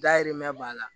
Dayirimɛ b'a la